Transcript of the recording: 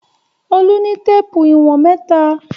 Olú ní téépù ìwọ̀n mẹ́ta.